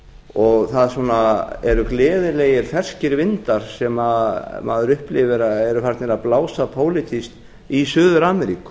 og það eru gleðilegir ferskir vindar sem maður upplifir að eru farnir að blása pólitískt í suður ameríku